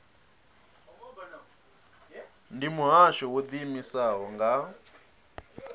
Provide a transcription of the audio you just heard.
ndi muhasho wo ḓiimisaho nga